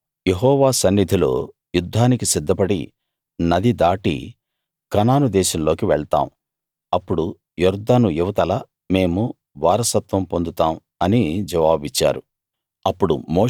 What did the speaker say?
మేము యెహోవా సన్నిధిలో యుద్ధానికి సిద్ధపడి నది దాటి కనాను దేశంలోకి వెళ్తాం అప్పుడు యొర్దాను ఇవతల మేము వారసత్వం పొందుతాం అని జవాబిచ్చారు